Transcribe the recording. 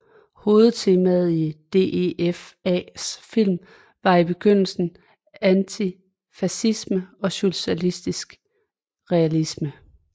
Hovedtemaet i DEFAs film var i begyndelsen antifascisme og socialistisk realisme